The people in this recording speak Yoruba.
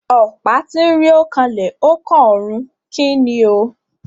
Ọ̀pá tínrín ó kanlẹ̀ ó kànrun. Kíni o?